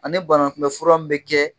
Ani banakunbɛ furu m bɛ kɛ